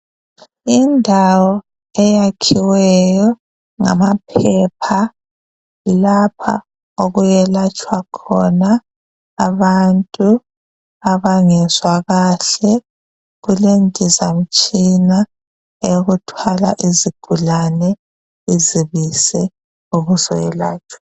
Indawo eyakhiweyo ngamaphepha yilapha okuyelatshwa khona abantu abangezwa kahle kulendizamtshina yokuthwala izigulane izibise ubusuyelatshwa